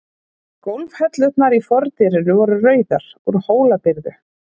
Gólfhellurnar í fordyrinu voru rauðar, úr Hólabyrðu.